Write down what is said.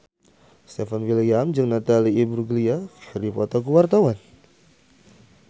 Stefan William jeung Natalie Imbruglia keur dipoto ku wartawan